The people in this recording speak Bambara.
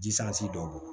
Jisansi dɔw bɔn